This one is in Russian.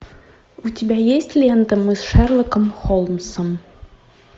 у тебя есть лента мы с шерлоком холмсом